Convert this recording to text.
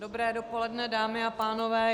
Dobré dopoledne, dámy a pánové.